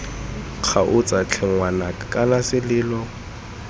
kgaotsa tlhe ngwanaka kana selelo